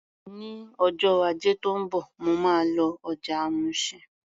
Ní ọjọ́ Ajé tó ń bọ̀, mo máa lọ ọjà Mushin.